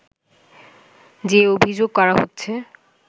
যে অভিযোগ করা হচ্ছে